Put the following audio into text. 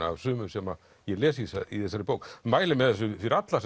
af sumu sem ég les í þessari bók mæli með þessu fyrir alla